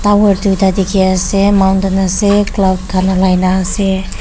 tower duita dikhi ase mountain ase cloud khan ulai na ase.